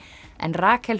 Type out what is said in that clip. en Rakel